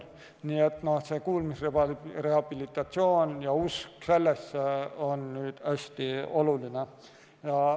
Nii et kuulmise rehabilitatsioon ja usk sellesse on hästi oluline.